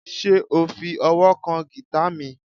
Ṣe o fi ọwọ kan gita mi?